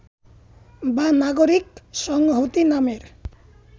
বা নাগরিক সংহতি নামের